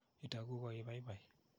Itoku ko ii paipai.